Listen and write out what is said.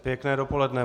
Pěkné dopoledne.